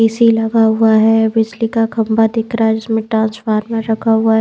AC लगा हुआ है बिजली का खंबा दिख रहा है जिसमें ट्रांसफार्मर रखा हुआ है।